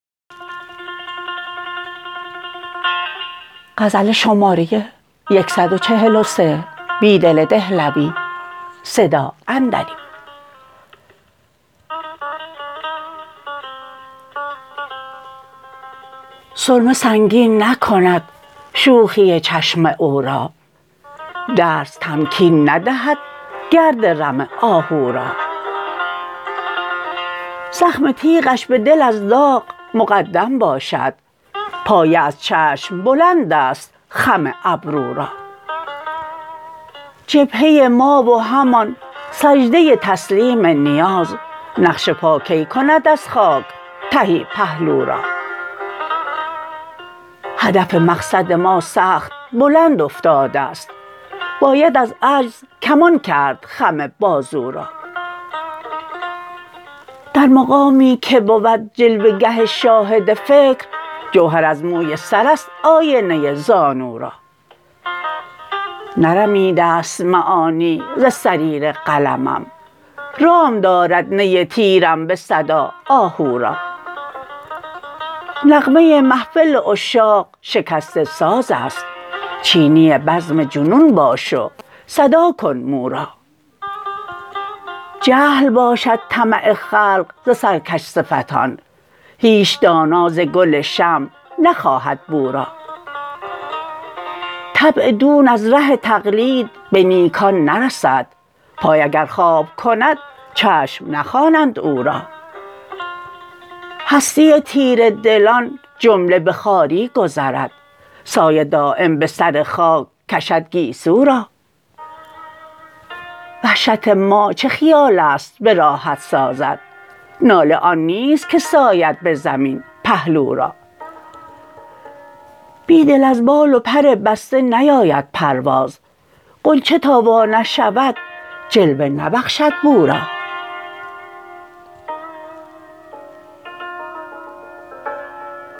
سرمه سنگین نکند شوخی چشم اورا درس تمکین ندهد گرد رم آهورا زخم تیغش به دل ز داغ مقدم باشد پایه از چشم بلند است خم ابرو را جبهه ما و همان سجده تسلیم نیاز نقش پا کی کند از خاک تهی پهلو را هدف مقصد ما سخت بلند افتاده ست باید از عجزکمان کرد خم بازو را در مقامی که بود جلوه گه شاهد فکر جوهر از موی سر است آینه زانو را نرمیده ست معانی ز صریر قلمم رام دارد نی تیرم به صدا آهو را نغمه محفل عشاق شکست سازاست چینی بزم جنون باش و صداکن مو را جهل باشد طمع خلق زسرکش صفتان هیچ دانا زگل شمع نخواهد بو را طبع دون از ره تقلید به نیکان نرسد پای اگر خواب کند چشم نخوانند او را هستی تیره دلان جمله به خواری گذرد سایه دایم به سر خاک کشدگیسو را وحشت ما چه خیال ست به راحت سازد ناله آن نیست که ساید به زمین پهلورا بیدل از بال و پر بسته نیاید پرواز غنچه تا وا نشود جلوه نبخشد بورا